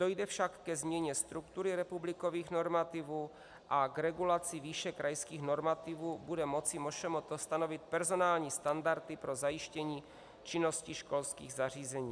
Dojde však ke změně struktury republikových normativů a k regulaci výše krajských normativů bude moci MŠMT stanovit personální standardy pro zajištění činnosti školských zařízení.